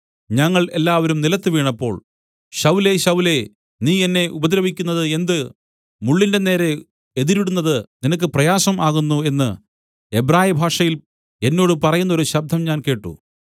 ഞങ്ങൾ എല്ലാവരും നിലത്തുവീണപ്പോൾ ശൌലേ ശൌലേ നീ എന്നെ ഉപദ്രവിക്കുന്നത് എന്ത് മുള്ളിന്റെ നേരെ എതിരിടുന്നത് നിനക്ക് പ്രയാസം ആകുന്നു എന്ന് എബ്രായഭാഷയിൽ എന്നോട് പറയുന്നൊരു ശബ്ദം ഞാൻ കേട്ട്